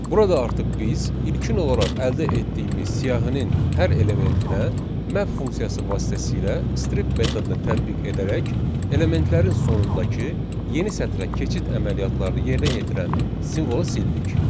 Burada artıq biz ilkin olaraq əldə etdiyimiz siyahının hər elementinə map funksiyası vasitəsilə strip metodunu tətbiq edərək elementlərin sonundakı yeni sətrə keçid əməliyyatlarını yerinə yetirən simvolu sildik.